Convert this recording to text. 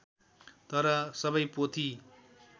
तर सबै पोथी